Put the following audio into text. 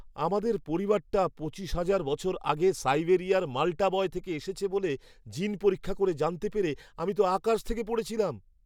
আমাদের পরিবারটা পঁচিশ হাজার বছর আগে সাইবেরিয়ার মাল্টা বয় থেকে এসেছে বলে জিন পরীক্ষা করে জানতে পেরে আমি তো আকাশ থেকে পড়েছিলাম!